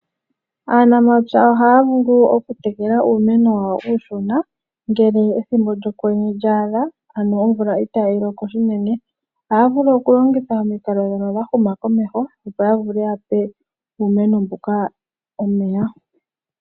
Aanafalama oha ya vulu okutekela uumeno wawo uushona ngele ethimbo lyokwenye lyaadha ano omvula itayi loko shinene oha ya vulu okulongitha omikalo ndhono dha huma komeho opo ya vule ya pe uumeno mbuka omeya.